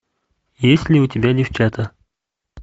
есть ли у тебя девчата